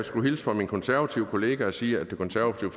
skulle hilse fra min konservative kollega og sige at det konservative